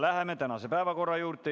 Läheme tänase päevakorra juurde.